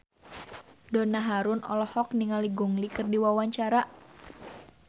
Donna Harun olohok ningali Gong Li keur diwawancara